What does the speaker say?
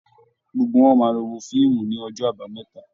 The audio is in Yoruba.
Gbogbo wọn máa lọ wo fíìmù ní ọjọ́ àbámẹ́ta